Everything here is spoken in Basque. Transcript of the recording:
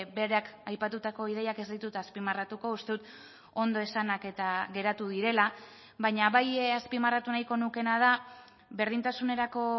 berak aipatutako ideiak ez ditut azpimarratuko uste dut ondo esanak eta geratu direla baina bai azpimarratu nahiko nukeena da berdintasunerako